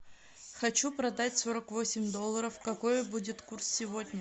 хочу продать сорок восемь долларов какой будет курс сегодня